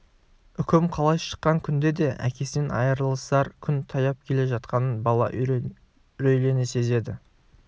үкім қалай шыққан күнде де әкесінен айырылысар күн таяп келе жатқанын бала үрейлене сезеді